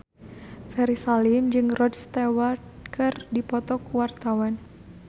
Ferry Salim jeung Rod Stewart keur dipoto ku wartawan